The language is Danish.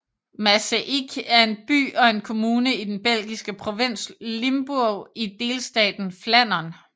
Maaseik er en by og en kommune i den belgiske provins Limburg i delstaten Flandern